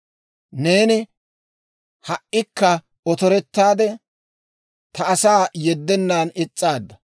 Neeni ha"ikka otorettaade, ta asaa yeddennan is's'aadda.